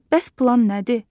Bəs plan nədir?